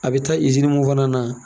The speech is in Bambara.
A bɛ taa mun fana na.